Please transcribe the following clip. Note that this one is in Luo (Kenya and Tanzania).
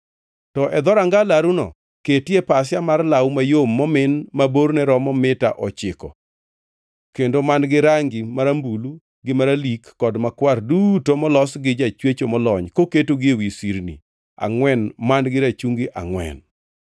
“To e dhoranga laruno, ketie pasia mar law mayom momin ma borne romo mita ochiko kendo man-gi rangi marambulu gi maralik kod makwar duto molos gi jachwecho molony koketgi ewi sirni angʼwen man-gi rachungi angʼwen.